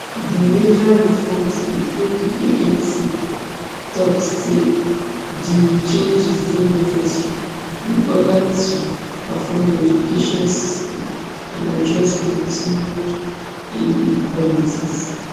di major reforms include di anc tok say di changes dey necessary in order to transform di education system and address continued inequalities